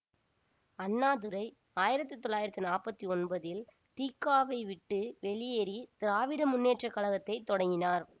அண்ணாதுரை ஆயிரத்தி தொள்ளாயிரத்தி நாற்பத்தி ஒன்பதில் தி க வை விட்டு வெளியேறி திராவிட முன்னேற்ற கழகத்தை தொடங்கினார்